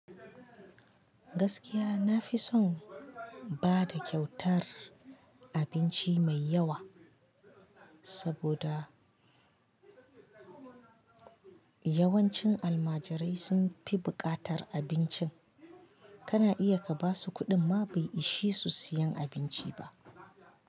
Gaskiya nafison bada kyautar abinci mai yawa, saboda yawancin almajirai sunfi bukatar abinci. Kana iya ka basu kuɗin ma bai ishe su siyan abinci ba.